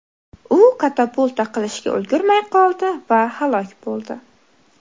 U katapulta qilishga ulgurmay qoldi va halok bo‘ldi.